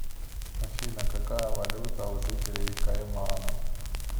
афина какая валюта у жителей кайманов